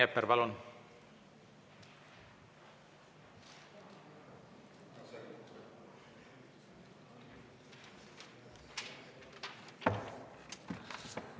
Rain Epler, palun!